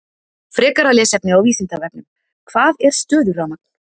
Frekara lesefni á Vísindavefnum: Hvað er stöðurafmagn?